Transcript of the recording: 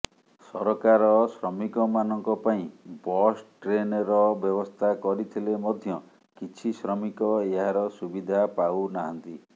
ସରକାର ଶ୍ରମିକମାନଙ୍କ ପାଇଁ ବସ୍ ଟ୍ରେନର ବ୍ୟବସ୍ଥା କରିଥିଲେ ମଧ୍ୟ କିଛି ଶ୍ରମିକ ଏହାର ସୁବିଧା ପାଉନାହାନ୍ତି